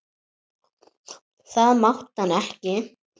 Það mátti hann ekki.